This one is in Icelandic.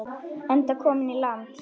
Enda kominn í land.